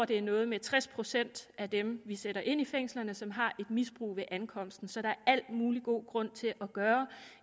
det er noget med tres procent af dem vi sætter ind i fængslerne som har et misbrug ved ankomsten så der er al mulig god grund til at gøre